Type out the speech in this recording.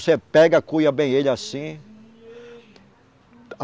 Você pega, cuia bem ele assim.